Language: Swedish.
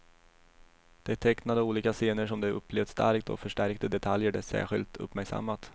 De tecknade olika scener som de upplevt starkt och förstärkte detaljer de särskilt uppmärksammat.